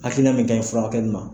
Hakilina min ka ɲi furakɛli ma